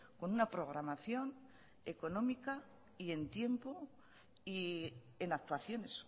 con una programación económica y en tiempo y en actuaciones